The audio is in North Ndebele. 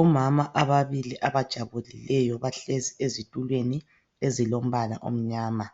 Omama ababili abajabulileyo bahlezi ezitulweni ezilombala omnyama